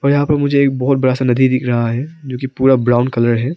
यहां पे मुझे एक बहोत बड़ा सा नदी दिख रहा है जो कि पूरा ब्राउन कलर है।